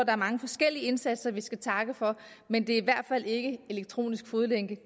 er mange forskellige indsatser vi skal takke for men det er i hvert fald ikke elektronisk fodlænke